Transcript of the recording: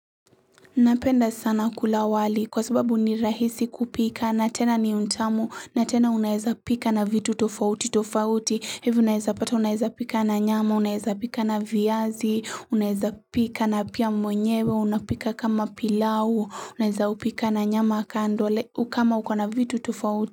Napenda sana kula wali kwa sababu ni rahisi kupika na tena ni tamu na tena unaeza pika na vitu tofauti tofauti hivi unaeza pata unaeza pika na nyama unaeza pika na viazi unaeza pika na pia mwenyewe unapika kama pilau unaeza upika na nyama kando kama uko na vitu tofauti.